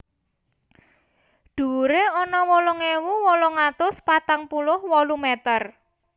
Dhuwuré ana wolung ewu wolung atus patang puluh wolu meter